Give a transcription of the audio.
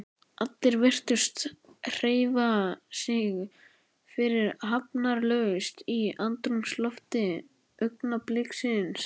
Allir virtust hreyfa sig fyrirhafnarlaust í andrúmslofti augnabliksins.